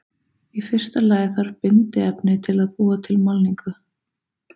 Í fyrsta lagi þarf bindiefni til að búa til málningu.